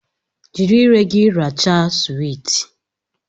Jiri ire gị rachaa suwiti!